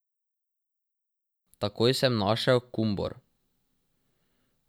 Takoj sem našel Kumbor.